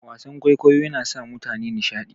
Wasan kwaikwayo yana sa mutane nishadi.